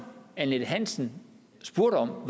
annette hansen spurgte om var om